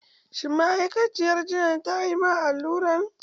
Shin ma'aikaciyar jinyan ta yi ma alluran?